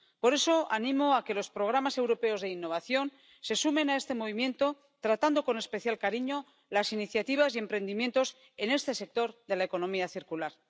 Por eso, animo a que los programas europeos de innovación se sumen a este movimiento, tratando con especial cariño las iniciativas y emprendimientos en este sector de la economía circular.